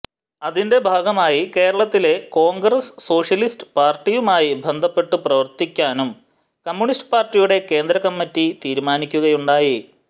അതിന്റെ ഭാഗമായി കേരളത്തിലെ കോൺഗ്രസ്സ് സോഷ്യലിസ്റ്റ് പാർട്ടിയുമായി ബന്ധപ്പെട്ടു പ്രവർത്തിക്കാനും കമ്മ്യൂണിസ്റ്റ് പാർട്ടിയുടെ കേന്ദ്രകമ്മിറ്റി തീരുമാനിക്കുകയുണ്ടായി